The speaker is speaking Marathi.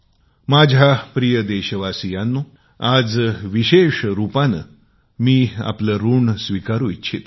माझ्या प्रिय देशवासीयांनो मी आज विशेष रूपाने आपले आपले ऋण स्वीकारु इच्छितो